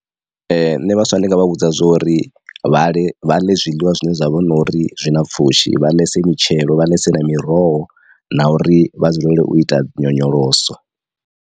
Nṋe vhaswa ndi nga vha vhudza zwori vha ḽe vha ḽe zwiḽiwa zwine zwa vha na uri zwi na pfhushi vha ḽese mitshelo vha ḽesp na miroho na uri vha dzulele u ita nyonyoloso.